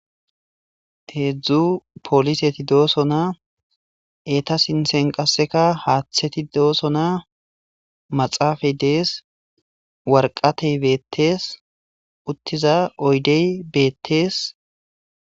Heedzdzu pooliseti dooso na eeta sinsen qasseka haaththeti dooso na maxaafay dees warqatey beettees uttiza oydey beettees